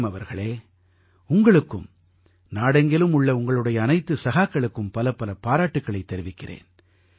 frame அவர்களே உங்களுக்கும் நாடெங்கிலும் உள்ள உங்களுடைய அனைத்து சகாக்களுக்கும் பலப்பல பாராட்டுக்களைத் தெரிவிக்கிறேன்